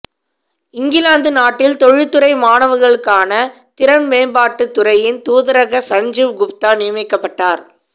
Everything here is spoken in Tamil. இங்கிலாந்து நாட்டில் தொழில்துறை மாணவர்ளுக்கான திறன் மேம்பாட்டு துறையின் தூதரக சஞ்சீவ் குப்தா நியமிக்கப்பட்டர்